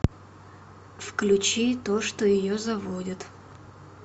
включи то что ее заводит